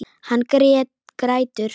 Hann grætur.